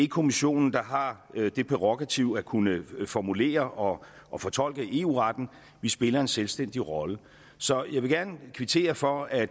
kommissionen der har det prærogativ at kunne formulere og og fortolke eu retten vi spiller en selvstændig rolle så jeg vil gerne kvittere for at